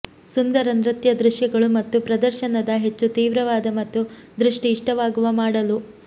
ಸುಂದರ ನೃತ್ಯ ದೃಶ್ಯಗಳು ಮತ್ತು ಪ್ರದರ್ಶನದ ಹೆಚ್ಚು ತೀವ್ರವಾದ ಮತ್ತು ದೃಷ್ಟಿ ಇಷ್ಟವಾಗುವ ಮಾಡಲು